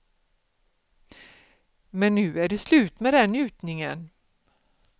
Men nu är det slut med den njutningen.